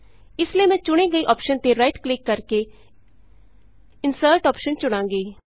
ਇਸ ਲਈ ਮੈਂ ਚੁਣੀ ਗਈ ਅੋਪਸ਼ਨ ਤੇ ਰਾਈਟ ਕਲਿਕ ਕਰਕੇ ਇੰਸਰਟ ਆਪਸ਼ਨ ਚੁਣਾਂਗੀ